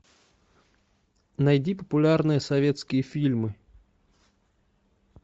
найди популярные советские фильмы